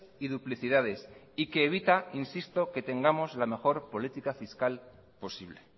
y duplicidades y que evita insisto que tengamos la mejor política fiscal posible